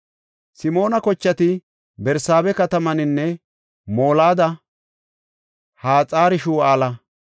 Simoona kochati Barsaabe katamaninne Molada, Haxar-Shu7aala,